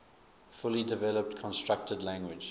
fully developed constructed language